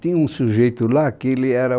Tinha um sujeito lá que ele era